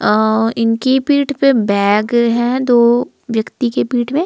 अं इनकी पीठ पे बैग है दो व्यक्ति के पीठ पे--